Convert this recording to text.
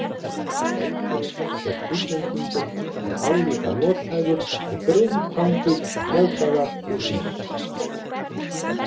Leikurinn gegn Íslendingum er álíka nothæfur og grilltangir mótaðar úr ís.